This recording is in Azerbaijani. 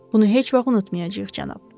Bunu heç vaxt unutmayacağıq, cənab.